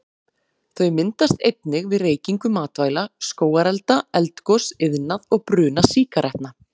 Þau myndast einnig við reykingu matvæla, skógarelda, eldgos, iðnað og bruna sígarettna.